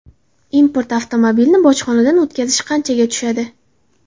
Import avtomobilni bojxonadan o‘tkazish qanchaga tushadi?.